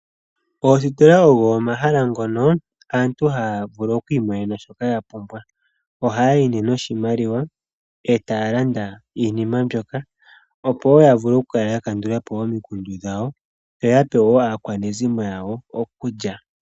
Oositola ogo omahala ngono aantu haya vulu okwiimonena shoka ya pumbwa oha ya yi ne noshimaliwa e taya landa iinima mbyoka opo wo ya vule okukala ya kandulapo omikundu dhawo yo yapewo aakwanezimo yawo okulya.